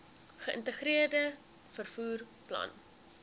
geïntegreerde vervoer plan